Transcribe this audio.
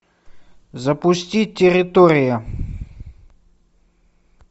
запусти территория